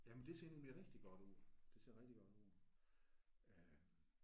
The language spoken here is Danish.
Jamen det ser nemlig rigtig godt ud. Det ser rigtig godt ud øh